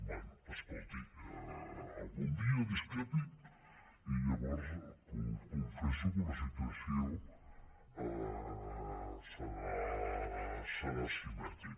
bé escolti algun dia discrepi i llavors confesso que la situació serà simètrica